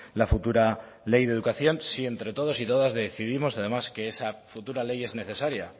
la futura ley de educación si entre todos y todas decidimos además que esa futura ley es necesaria